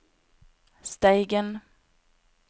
Steigen